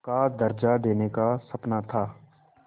का दर्ज़ा देने का सपना था